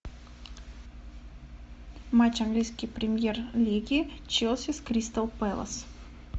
матч английской премьер лиги челси с кристал пэлас